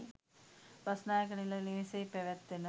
බස්නායක නිල නිවසෙහි පැවැත්වෙන